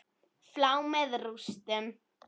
Flá með rústum.